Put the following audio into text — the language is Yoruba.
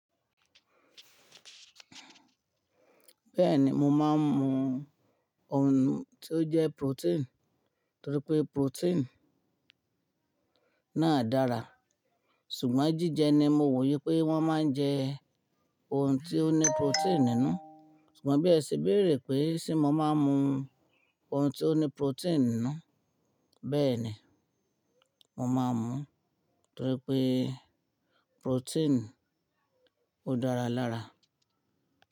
Bẹ́ẹ̀ni, mo máa ń mu oun tí ó jẹ́ protein nítorí pé protein náà dára. Ṣùgbọ́n jíjẹ ni mo wò yí pé wọ́n máa ń jẹ oun tí ó ní protein nínú. Ṣùgbọ́n bí ẹ ṣe béèrè pé ṣé mo máa ń mu oun tí ó ní protein nínú, bẹ́ẹ̀ni, mo máa ń mu, nítorí pé protein ó dára lára.